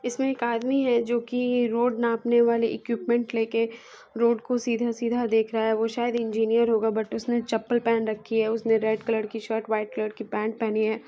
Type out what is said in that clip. इसमे एक आदमी है जो कि रोड नापने वाले इक्विपमेंट लेके रोड को सीधा सीधा देख रहा है वो शायद इंजीनियर होगा बट उसने चप्पल पहन रखी है उसने रेड कलर की शर्ट व्हाइट कलर की पैंट पहनी है।